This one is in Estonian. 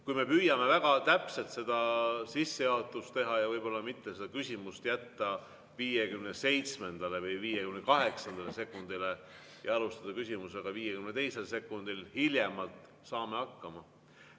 Kui me püüame väga täpselt sissejuhatust teha ja võib-olla mitte seda küsimust jätta 57.–58. sekundile, vaid alustada küsimusega hiljemalt 52. sekundil, siis saame hakkama.